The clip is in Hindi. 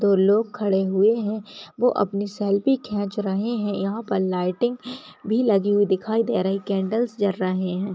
दो लोग खड़े हुए हैं वो अपनी सेल्फ़ी खेंच रहे हैं यहाँ पर लाइटें भी लगी हुई दिखाई दे रही केंडल्स जल रहे हैं।